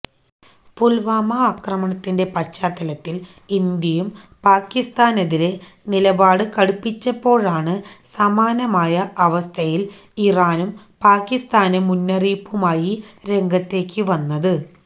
പുൽവാമ ആക്രമണത്തിന്റെ പശ്ചാത്തലത്തിൽ ഇന്ത്യയും പാക്കിസ്ഥാനെതിരെ നിലപാട് കടുപ്പിച്ചപ്പോഴാണ് സമാനമായ അവസ്ഥയിൽ ഇറാനും പാക്കിസ്ഥാന് മുന്നറിയിപ്പുമായി രംഗത്തേക്ക് വന്നത്